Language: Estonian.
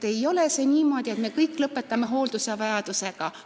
Ei ole niimoodi, et me kõik lõpetame hooldusvajadusega.